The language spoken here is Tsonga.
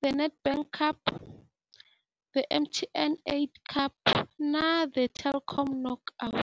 The Nedbank Cup, The MTN 8 Cup na The Telkom Knockout.